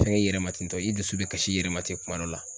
Fɛn i yɛrɛ ma ten tɔ i dusu bɛ kasi i yɛrɛ ma ten kuma dɔ la